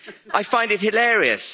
I find it hilarious.